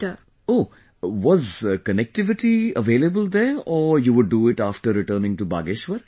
O...was connectivity available there or you would do it after returning to Bageshwar